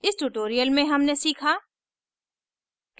इस tutorial में हमने सीखा